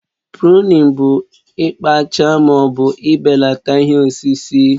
Pụrunin bụ ikpaacha ma ọ bụ ibelata ihe osisi